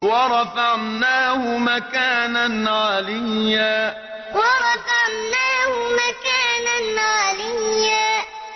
وَرَفَعْنَاهُ مَكَانًا عَلِيًّا وَرَفَعْنَاهُ مَكَانًا عَلِيًّا